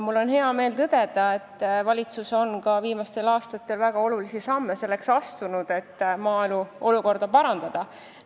Mul on hea meel tõdeda, et valitsus on viimastel aastatel astunud ka väga olulisi samme selleks, et olukorda maal parandada.